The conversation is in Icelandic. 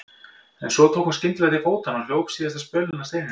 En svo tók hún skyndilega til fótanna og hljóp síðasta spölinn að steininum.